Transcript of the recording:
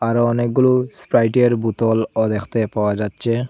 আরও অনেকগুলো স্প্রাইটের বোতলও দেখতে পাওয়া যাচ্ছে।